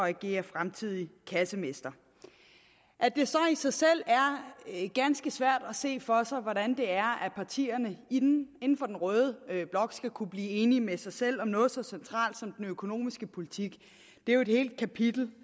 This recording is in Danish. agere fremtidig kassemester at det så i sig selv er ganske svært at se for sig hvordan partierne inden for den røde blok skal kunne blive enig med sig selv om noget så centralt som den økonomiske politik er jo et helt kapitel